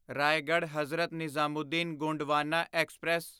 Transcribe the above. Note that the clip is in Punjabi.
ਰਾਏਗੜ੍ਹ ਹਜ਼ਰਤ ਨਿਜ਼ਾਮੂਦੀਨ ਗੋਂਡਵਾਨਾ ਐਕਸਪ੍ਰੈਸ